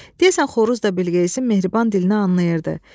Deyəsən xoruz da Bilqeyisin mehriban dilini anlayırdı.